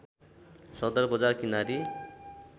सदर बजार किनारी